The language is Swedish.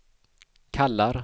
kallar